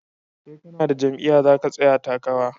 Sai kanada jam'iya zaka tsaya takara